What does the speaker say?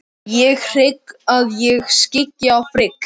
Ég hygg að ég skyggi á Frigg.